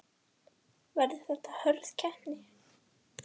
Ásgeir: Verður þetta hörð keppni?